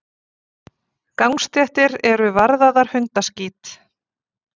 Gangstéttir eru varðaðar hundaskít.